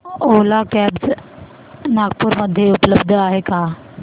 ओला cabs Nagpur मध्ये उपलब्ध आहे का